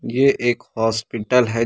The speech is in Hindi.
ये एक हॉस्पिटल है।